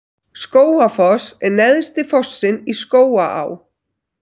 Skógafoss er neðsti fossinn í Skógaá.